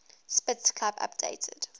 spitz club updated